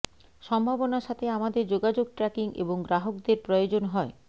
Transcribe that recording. সম্ভাবনার সাথে আমাদের যোগাযোগ ট্র্যাকিং এবং গ্রাহকদের প্রয়োজন হয়